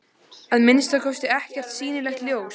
Að minnsta kosti ekkert sýnilegt ljós.